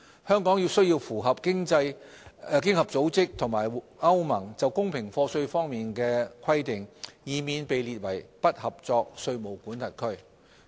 香港需要符合經合組織和歐盟就公平課稅方面的規定，以免被列為"不合作"稅務管轄區。